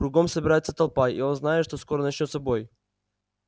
кругом собирается толпа и он знает что скоро начнётся бой